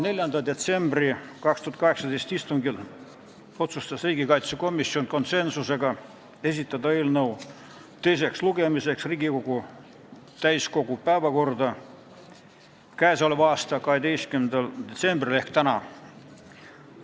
4. detsembri istungil otsustas riigikaitsekomisjon konsensusega esitada eelnõu teiseks lugemiseks täiskogu päevakorda 12. detsembriks ehk tänaseks.